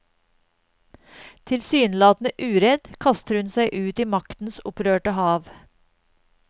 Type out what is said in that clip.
Tilsynelatende uredd kaster hun seg ut i maktens opprørte hav.